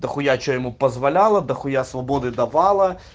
дохуя что ему позволяла дохуя свободы давала